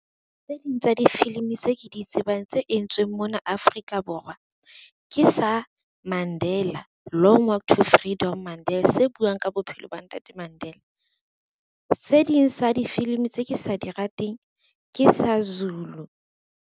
Tse ding tsa difilimi tse ke di tsebang tse entsweng mona Afrika Borwa, ke sa Mandela Long Walk to Freedom Mandela se buang ka bophelo ba Ntate Mandela. Se ding sa difilimi tse ke sa di rateng ke sa Zulu.